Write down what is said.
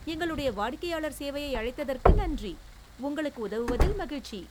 எங்களுடைய வாடிக்கையாளர் சேவையை அழைத்ததற்கு நன்றி. உங்களுக்கு உதவுவதில் மகிழ்ச்சி.